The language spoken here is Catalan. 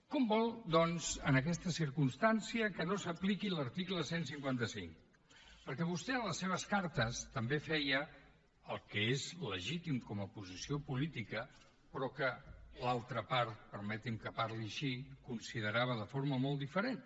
com vol doncs en aquesta circumstància que no s’apliqui l’article cent i cinquanta cinc perquè vostè en les seves cartes també feia el que és legítim com a posició política però que l’altra part permeti’m que parli així ho considerava de forma molt diferent